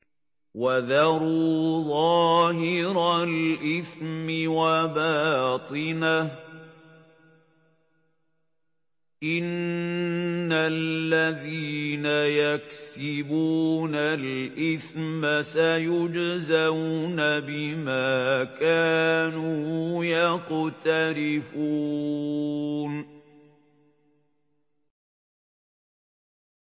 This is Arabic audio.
وَذَرُوا ظَاهِرَ الْإِثْمِ وَبَاطِنَهُ ۚ إِنَّ الَّذِينَ يَكْسِبُونَ الْإِثْمَ سَيُجْزَوْنَ بِمَا كَانُوا يَقْتَرِفُونَ